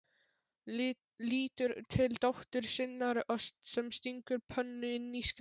Lítur til dóttur sinnar sem stingur pönnu inn í skáp.